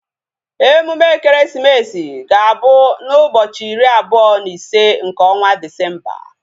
Emume ekeresimesi ga-abụ na ụbọchị iri abụọ na ise nke ọnwa Disemba